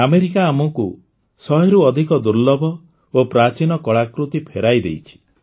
America ଆମକୁ ଶହେରୁ ଅଧିକ ଦୁର୍ଲଭ ଓ ପ୍ରାଚୀନ କଳାକୃତି ଫେରାଇ ଦେଇଛି